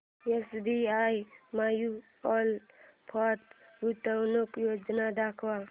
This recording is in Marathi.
एसबीआय म्यूचुअल फंड गुंतवणूक योजना दाखव